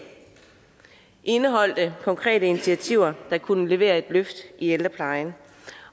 indeholdt konkrete initiativer der kunne levere et løft i ældreplejen